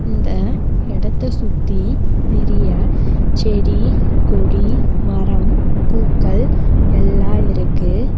இந்த இடத்த சுத்தி நெறைய செடி கொடி மரம் பூக்கள் எல்லா இருக்கு.